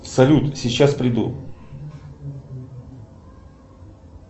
салют сейчас приду